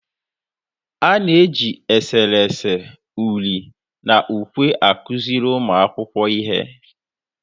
A na-eji eserese, uri na ukwe akụziri ụmụ akwụkwọ ihe.